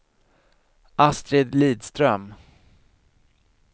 Astrid Lidström